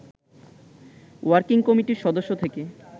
working কমিটির সদস্য থেকে